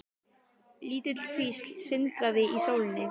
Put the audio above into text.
Lítil kvísl sindraði í sólinni.